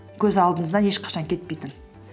көз алдыңыздан ешқашан кетпейтін